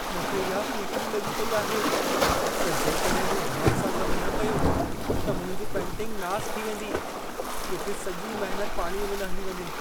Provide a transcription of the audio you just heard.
मूंखे इहा फ़िफ़िड़ी लॻी पेई आहे, त जेकॾहिं मूं ध्यान सां कमु न कयो त मुंहिंजी पेंटिंगु नासु थी वेंदी। किथे सॼी महनत पाणीअ में न हली वञे।